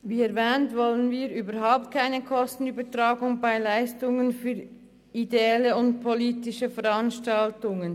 Wie erwähnt wollen wir überhaupt keine Kostenübertragung von Leistungen für ideelle und politische Veranstaltungen.